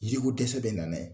Yiriko dɛsɛ bɛna n'a ye.